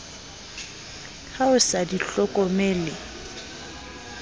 ha o sa di hlokomele